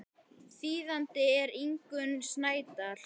Þýðandi er Ingunn Snædal.